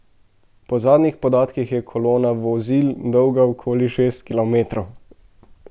Po zadnjih podatkih je kolona vozil dolga okoli šest kilometrov.